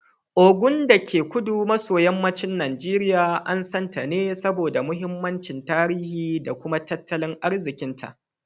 Ogun, dake kudu maso yammacin Najeriya, an san ta ne saboda mahimmancin tarihi da kuma tattalin arzikinta.